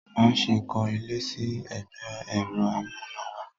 Má ṣe kọ́ ilé sí ẹgbẹ́ ẹ̀rọ amúnáwá!